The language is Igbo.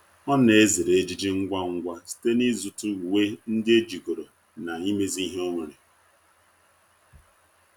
ọ na ezere ejiji ngwa ngwa site na izu ta uwe ndi ejigoro na imezi ihe onwere